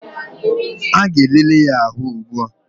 A ga-elele ya ahụ ugbua